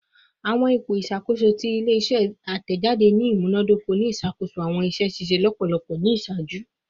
Awọn ipo iṣakoso ti ile-iṣẹ atẹjade ni imunadoko ni iṣakoso awọn iṣẹ ṣiṣe lọpọlọpọ ni iṣaaju